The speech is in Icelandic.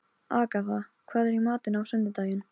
Agatha, hvað er í matinn á sunnudaginn?